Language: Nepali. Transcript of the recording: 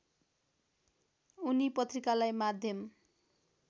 उनी पत्रिकालाई माध्यम